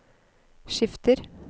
skifter